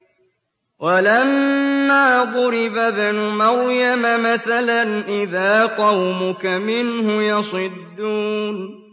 ۞ وَلَمَّا ضُرِبَ ابْنُ مَرْيَمَ مَثَلًا إِذَا قَوْمُكَ مِنْهُ يَصِدُّونَ